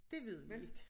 Dét ved vi ik